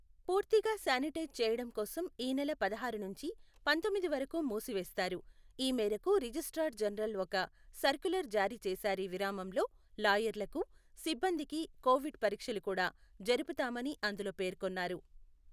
పూర్తిగా సానిటైజ్ చేయటం కోసం ఈ నెల పదహారు నుంచి పంతొమ్మిది వరకు మూసివేస్తారు. ఈ మేరకు రిజిస్ట్రార్ జనరల్ ఒక సర్క్యులర్ జారీచేశారీ విరామంలో లాయర్లకు, సిబ్బందికి కోవిడ్ పరీక్షలు కూడా జరుపుతామని అందులో పేర్కొన్నారు.